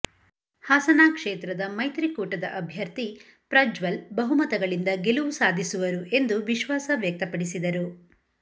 ಹಾಸನ ಕ್ಷೇತ್ರದ ಮೈತ್ರಿ ಕೂಟದ ಅಭ್ಯರ್ಥಿ ಪ್ರಜ್ವಲ್ ಬಹುಮತಗಳಿಂದ ಗೆಲುವು ಸಾಧಿಸುವರು ಎಂದು ವಿಶ್ವಾಸ ವ್ಯಕ್ತಪಡಿಸಿದರು